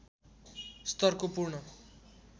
स्तरको पूर्ण